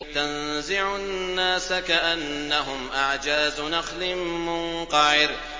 تَنزِعُ النَّاسَ كَأَنَّهُمْ أَعْجَازُ نَخْلٍ مُّنقَعِرٍ